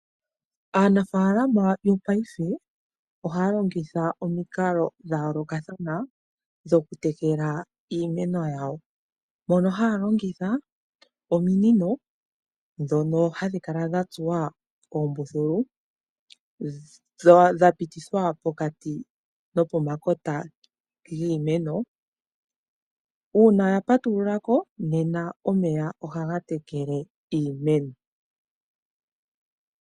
Aanafaalama yopaife ohay longitha omikalo dhayoolokathana dhokutekela iimeno yawo. Mono haya longitha ominino dhono hadhi kala dhatsuwa oombululu dhapitithwa pokati nopomakota giimeno, uuna yapatululako nena omeya ohaga tekele iimeno.